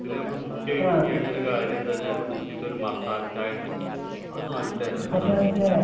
അത് നമ്മൾ മുഖ്യായിട്ടു ചെയ്യേണ്ട ഒരു കാര്യം എന്താണെന്നു വച്ചാൽ ഊട്ടിയിലത്തെ ഒരു മസാല ചായ ഉണ്ട് അത് നല്ല രസാണ്